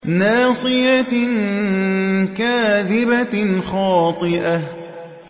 نَاصِيَةٍ كَاذِبَةٍ خَاطِئَةٍ